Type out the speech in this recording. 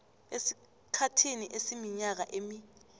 esikhathini esiminyaka emi